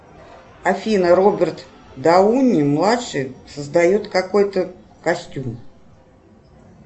афина роберт дауни младший создает какой то костюм